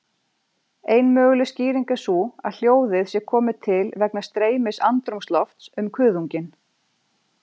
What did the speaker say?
Ein möguleg skýring er sú að hljóðið sé komið til vegna streymis andrúmslofts um kuðunginn.